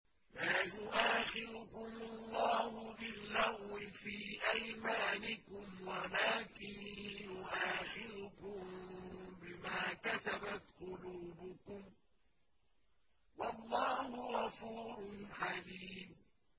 لَّا يُؤَاخِذُكُمُ اللَّهُ بِاللَّغْوِ فِي أَيْمَانِكُمْ وَلَٰكِن يُؤَاخِذُكُم بِمَا كَسَبَتْ قُلُوبُكُمْ ۗ وَاللَّهُ غَفُورٌ حَلِيمٌ